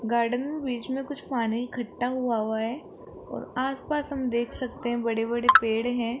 Garden बीच में कुछ पानी इकट्ठा हुआ हुआ है और आसपास हम देख सकते हैं बड़े बड़े पेड़ हैं।